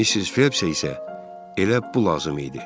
Missis Felpsə isə elə bu lazım idi.